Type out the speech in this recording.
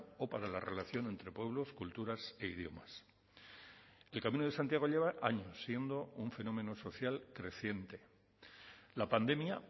o para la relación entre pueblos culturas e idiomas el camino de santiago lleva años siendo un fenómeno social creciente la pandemia